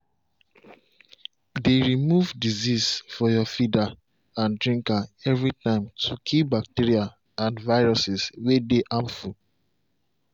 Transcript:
dey remove disease for your feeder and drinka every time to kill bacteria and viruses way dey harmful.